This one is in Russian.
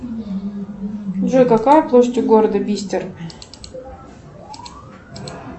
джой какая площадь у города бистер